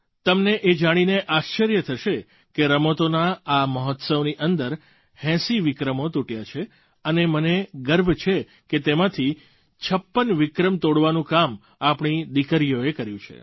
તમને એ જાણીને આશ્ચર્ય થશે કે રમતોના આ મહોત્સવની અંદર 80 વિક્રમો તૂટ્યા છે અને મને ગર્વ છે કે તેમાંથી 56 વિક્રમ તોડવાનું કામ આપણી દીકરીઓએ કર્યું છે